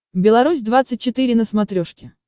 беларусь двадцать четыре на смотрешке